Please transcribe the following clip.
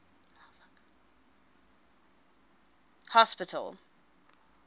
hospital